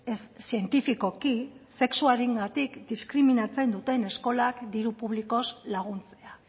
ez zientifikoki sexuarengatik diskriminatzen duten eskolak diru publikoz laguntzea